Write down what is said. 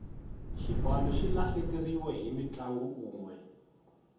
xipano xi lahlekeriwe hi mutlangi unwe